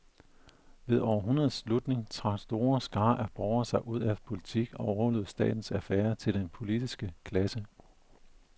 Ved århundredets slutning trak store skarer af borgere sig ud af politik og overlod statens affærer til den politiske klasse.